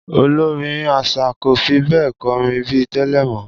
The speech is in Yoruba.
Olórin às̩à kò fi bé̩è̩ ko̩rin bí i tè̩lè̩ mó̩